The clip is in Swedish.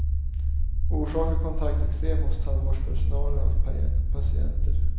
Orsakar kontakteksem hos tandvårdspersonal och patienter.